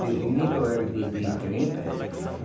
De vinte ou era de de trinta.